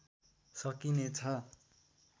सकिने छ